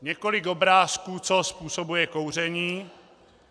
Několik obrázků, co způsobuje kouření.